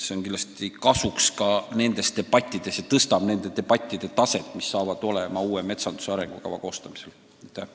See tuleb meie aruteludes kindlasti kasuks ja tõstab nende debattide taset, mis uue metsanduse arengukava koostamisel ees seisavad.